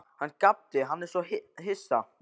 Hann gapti, hann var svo hissa.